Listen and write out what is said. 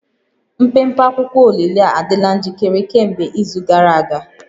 Mpempe akwụkwọ olili a adịla njikere kemgbe izu gara aga